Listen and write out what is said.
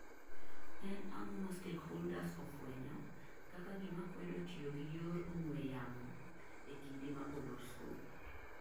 En ang'o ma stakeholders ofuenyo kaka gima kwedo tiyo gi yor ong'we yamo ee kinde ma olor skul?